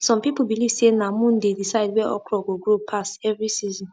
some people believe say na moon dey decide where okra go grow pass every season